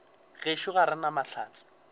gešo ga re na mahlatse